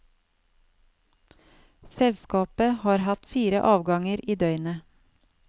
Selskapet har hatt fire avganger i døgnet.